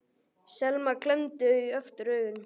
Selma klemmdi aftur augun.